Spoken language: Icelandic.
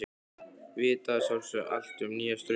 Vita að sjálfsögðu allt um nýja strauma.